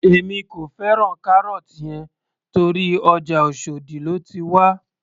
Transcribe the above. Èmi kò fẹ́ràn carrot yẹn torí ọjà oshòdì lóti wá